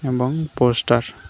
এবং পোস্টার --